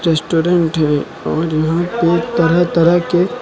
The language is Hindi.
रेस्टोरेंट हैं और यहां पे तरह तरह के--